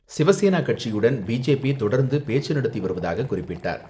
சிவசேனா கட்சியுடன், பி.ஜே.பி. தொடர்ந்து பேச்சு நடத்தி வருவதாக குறிப்பிட்டார்.